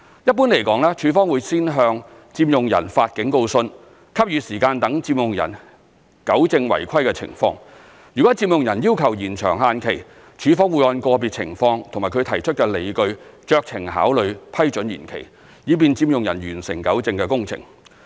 一般來說，署方會先向佔用人發警告信，給予時間讓佔用人糾正違規情況，若佔用人要求延長限期，署方會按個別情況及其提出的理據酌情考慮批准延期，以便佔用人完成糾正工程。